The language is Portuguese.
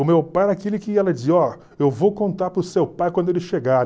O meu pai era aquele que ela dizia, ó, eu vou contar para o seu pai quando ele chegar.